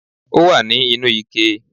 Ó wà ní inú ike